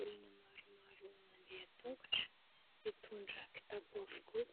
Olona maromaro mandeha tongotra : mitondra kitapo avokoa